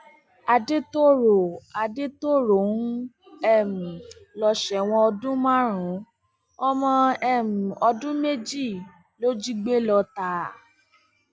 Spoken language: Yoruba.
àdètòrò àdètòrò ń um lọ sẹwọn ọdún márùnún ọmọ um ọdún méjì ló jí gbé lọtà